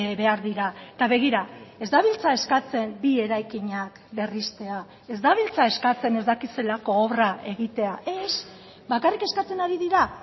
behar dira eta begira ez dabiltza eskatzen bi eraikinak berristea ez dabiltza eskatzen ez dakit zelako obra egitea ez bakarrik eskatzen ari dira